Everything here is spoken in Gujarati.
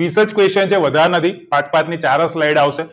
વીજ જ question છે વધારે નથી પાંચ પાંચ ની ચાર જ slide આવશે